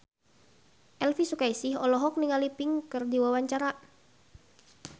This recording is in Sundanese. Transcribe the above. Elvy Sukaesih olohok ningali Pink keur diwawancara